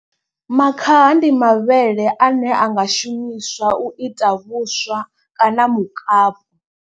Makhaha ndi mavhele ane a nga shumiswa u ita vhuswa kana mukapu.